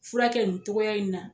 Fura kɛ nin togoya in na.